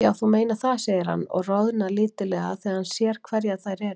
Já, þú meinar það, segir hann og roðnar lítillega þegar hann sér hverjar þær eru.